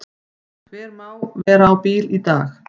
Hver má vera á bíl í dag?